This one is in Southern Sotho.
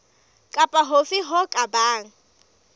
kapa hofe ho ka bang